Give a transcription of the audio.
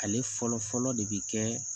Ale fɔlɔ fɔlɔ de bi kɛ